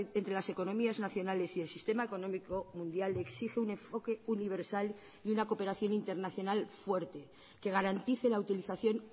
entre las economías nacionales y el sistema económico mundial exige un enfoque universal y una cooperación internacional fuerte que garantice la utilización